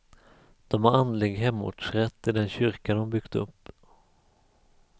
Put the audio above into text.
De har andlig hemortsrätt i den kyrka de byggt upp.